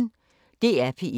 DR P1